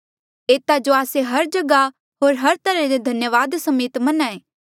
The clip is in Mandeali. एता जो आस्से हर जगहा होर हर तरहा ले धन्यावादा समेत मन्हां ऐें